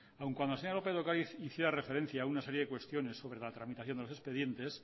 aun cuando la señora lópez de ocariz hiciera referencia a una serie de cuestiones sobre la tramitación de los expedientes